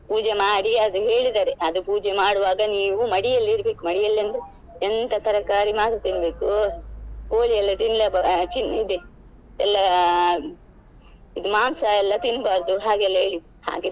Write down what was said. ಪೂಜೆ ಮಾಡಿ ಅದು ಹೇಳಿದ್ದಾರೆ ಅದು ಪೂಜೆ ಮಾಡುವಾಗ ನೀವು ಮಡಿಯಲ್ಲಿ ಇರ್ಬೇಕು ಮಡಿಯಲ್ಲಿ ಅಂದ್ರೆ ಎಂತ ತರಕಾರಿ ಮಾತ್ರ ತಿನ್ಬೇಕು ಕೋಳಿ ಎಲ್ಲ ತಿನ್ಲೆ ಇದೆ ಎಲ್ಲ ಮಾಂಸ ಎಲ್ಲ ತಿನ್ಬಾರ್ದು ಹಾಗೆಲ್ಲ ಹೇಳಿದ್ರು.